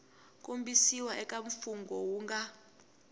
kombisiwa eka mfungho wu nga